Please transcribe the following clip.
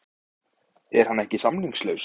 Er hann ekki samningslaus?